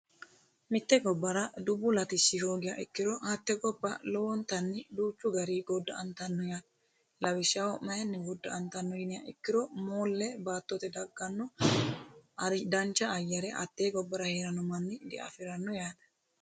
Mitte gobara dubbu latishi hoogiha ikkiro hatte gobba lowonitanni duuchu gariii godha"anittano yaate lawishshaho mayinni goda"anittano yinummoha ikkiro moolle baattote daggano danicja ayare hatee gobbara herano manni diafiranno yaate